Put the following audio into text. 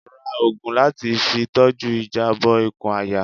Rá òògùn latí fí tọju ìjabọ ìkùn àyà